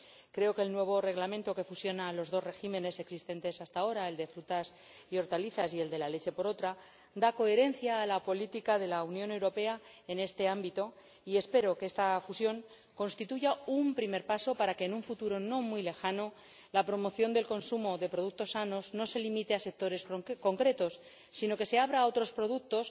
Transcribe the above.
Creo que el nuevo Reglamento que fusiona los dos regímenes existentes hasta ahora, el de frutas y hortalizas y el de la leche, da coherencia a la política de la Unión Europea en este ámbito y espero que esta fusión constituya un primer paso para que en un futuro no muy lejano la promoción del consumo de productos sanos no se limite a sectores concretos, sino que se abra a otros productos